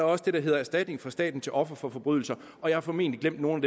også det der hedder erstatning fra staten til ofre for forbrydelser og jeg har formentlig glemt nogle